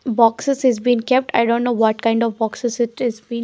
Boxes is been kept i don't know what kind of boxes it is been.